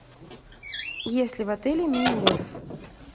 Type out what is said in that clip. есть ли в отеле мини гольф